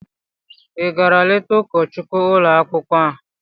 Ị gara leta ụkọchukwu ụlọ akwụkwọ?